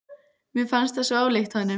Mér fannst það svo ólíkt honum.